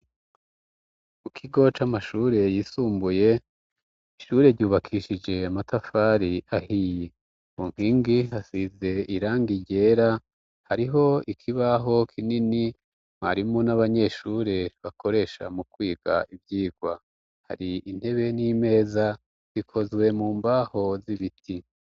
Ku kigo c'amashure yisumbuye ishure ryubakishije amatafari ahiye kunkingi hasize irangi ryera hariho ikibaho kinini mwarimu n'abanyeshure bakoresha mu kwiga ivyigwa hari intebe n'imeza zikozwe mu mbaho z'ibiti.